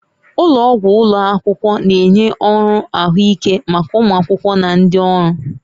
Ụlọ ọgwụ ụlọ akwụkwọ na-enye ọrụ ahụike maka ụmụ akwụkwọ na ndị ọrụ